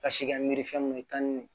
Ka si kɛ miiri fɛn mun ye tan ni